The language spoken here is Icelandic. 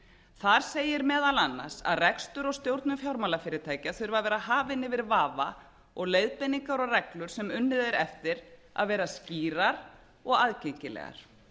þar segir meðal annars að rekstur og stjórnun fjármálafyrirtækja þurfi að vera hafin yfir vafa og leiðbeiningar og reglur sem unnið er eftir að vera skýrar og aðgengilegar